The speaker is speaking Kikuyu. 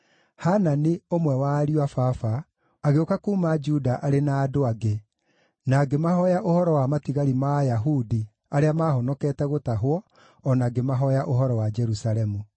Hanani, ũmwe wa ariũ a baba, agĩũka kuuma Juda arĩ na andũ angĩ, na ngĩmahooya ũhoro wa matigari ma Ayahudi arĩa maahonokete gũtahwo, o na ngĩmahooya ũhoro wa Jerusalemu.